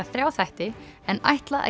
þrjá þætti en ætla